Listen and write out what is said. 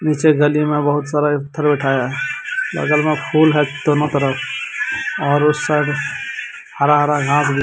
पीछे गली में बहुत सारा पत्थर उठाया बगल में फुल है दोनों तरफ और उस साइड हरा-हरा घास भी --